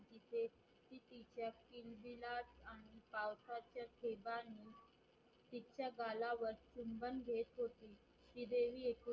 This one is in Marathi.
पावसाच्या थेबाणी तिच्या गालावर चुबंन घेत होती श्रीदेवी